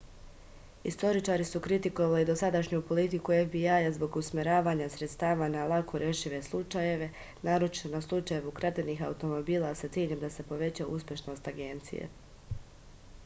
istoričari su kritikovali dosadašnju politiku fbi-a zbog usmeravanja sredstava na lako rešive slučajeve naročito na slučajeve ukradenih automobila sa ciljem da se poveća uspešnost agencije